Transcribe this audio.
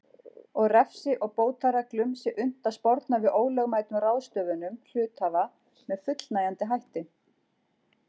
og refsi og bótareglum sé unnt að sporna við ólögmætum ráðstöfunum hluthafa með fullnægjandi hætti.